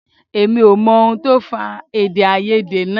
Èmi ò mọ ohun tó fà èdèàìyedè náà